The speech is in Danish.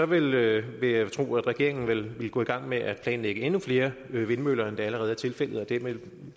vil jeg vil jeg tro at regeringen ville gå i gang med at planlægge endnu flere vindmøller end det allerede er tilfældet og